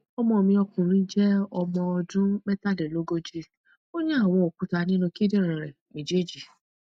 ọmọ mi ọkùnrin je ọmọ ọdún mẹtàlélógójì ó ní àwọn òkúta ninu kindinrin ré méjèèjì